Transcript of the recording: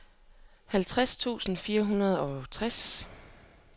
halvtreds tusind fire hundrede og tres